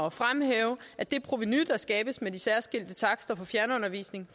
at fremhæve at det provenu der skabes med de særskilte takster for fjernundervisning